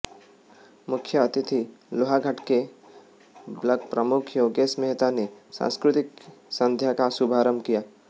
मुख्य अतिथि लोहाघाट के ब्लॉक प्रमुख योगेश मेहता ने सांस्कृतिक संध्या का शुभारंभ किया